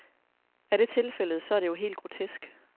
Er det tilfældet, så er det jo helt grotesk.